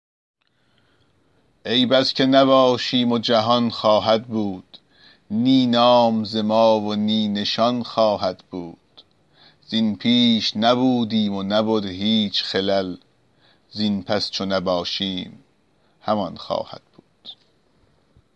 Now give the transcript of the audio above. ای بس که نباشیم و جهان خواهد بود نی نام ز ما و نی نشان خواهد بود زین پیش نبودیم و نبد هیچ خلل زین پس چو نباشیم همان خواهد بود